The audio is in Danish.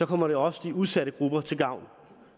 kommer det også de udsatte grupper til gavn